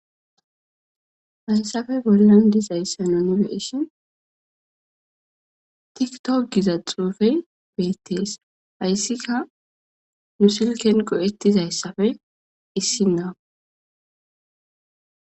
Hasssafe bollan dizayssano nebeishin tiktop giza xuufey beettees hayssika nusilken go7ettizayssafe issinna.